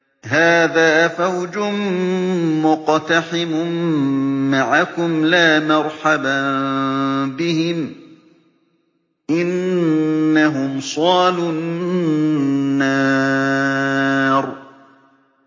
هَٰذَا فَوْجٌ مُّقْتَحِمٌ مَّعَكُمْ ۖ لَا مَرْحَبًا بِهِمْ ۚ إِنَّهُمْ صَالُو النَّارِ